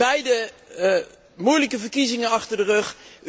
We hebben beiden moeilijke verkiezingen achter de rug.